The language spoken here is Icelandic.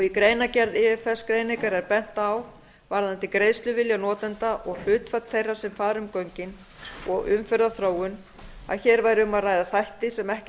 í greinargerð ifs greiningar er bent á varðandi greiðsluvilja notenda og hlutfall þeirra sem fara um göngin og umferðarþróun að hér væri um að ræða þætti sem ekki